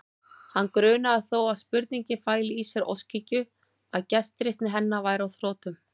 Hann grunaði þó að spurningin fæli í sér óskhyggju, að gestrisni hennar væri á þrotum.